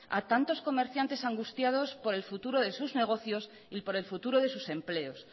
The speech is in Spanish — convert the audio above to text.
a tantos comerciantes angustiados por el futuro de sus negocios y por el futuro de sus empleos